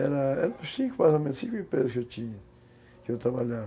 Eram eram cinco, mais ou menos, cinco empresas que eu tinha, que eu trabalhava.